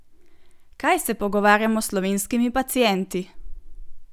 Kaj se pogovarjamo s slovenskimi pacienti?